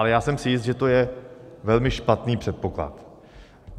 Ale já jsem si jist, že to je velmi špatný předpoklad.